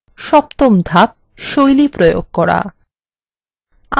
সপ্তম ধাপ শৈলী প্রয়োগ করা